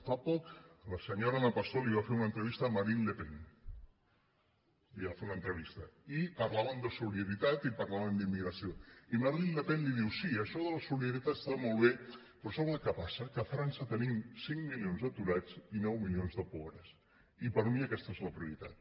fa poc la senyora ana pastor va fer una entrevista a marine le pen li va fer una entrevista i parlaven de solidaritat i parlaven d’immigració i marine le pen li diu sí això de la solidaritat està molt bé però sap el que passa que a frança tenim cinc milions d’aturats i nou milions de po·bres i per mi aquesta és la prioritat